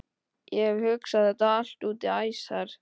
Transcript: Ég hef hugsað þetta allt út í æsar.